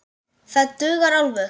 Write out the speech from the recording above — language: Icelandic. Það dugar alveg.